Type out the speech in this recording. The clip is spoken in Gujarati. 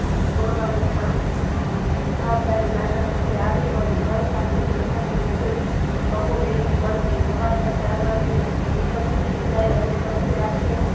રોડવાની શાંતિ જવાબદારી બા ના ખંભે આવી પડી કળ સાથે ખેતરની મજૂરી બહુ વેલી વળગી સવારના ચાર વળે દિવસ ઉઠીને ત્યરે અને પછી આ